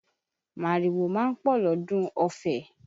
Màrìwò ma ń pọ̀ lọ́dún Ọfẹ